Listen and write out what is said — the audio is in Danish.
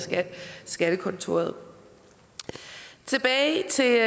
skattekontoret tilbage til